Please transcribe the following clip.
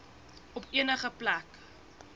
op enige plek